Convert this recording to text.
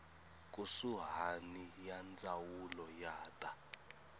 kusuhani ya ndzawulo ya ta